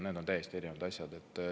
Need on täiesti erinevad asjad.